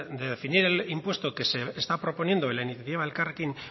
el definir el impuesto que se está proponiendo en la iniciativa de elkarrekin